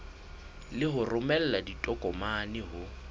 le ho romela ditokomane ho